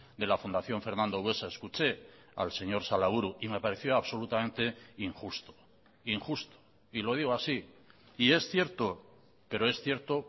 de la fundación fernando buesa escuché al señor salaburu y me pareció absolutamente injusto injusto y lo digo así y es cierto pero es cierto